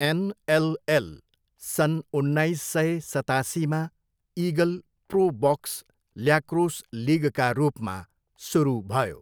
NLL सन् उन्नाइस सय सतासीमा इगल प्रो बक्स ल्याक्रोस लिगका रूपमा सुरु भयो।